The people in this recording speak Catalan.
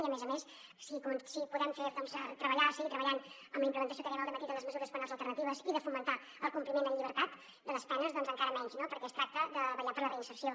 i a més a més si podem seguir treballant en la implementació que dèiem al dematí de les mesures penals alternatives i de fomentar el compliment amb llibertat de les penes doncs encara menys no perquè es tracta de vetllar per la reinserció